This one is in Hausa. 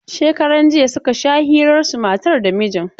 Shekaran jiya suka sha hirarsu matar da mijin.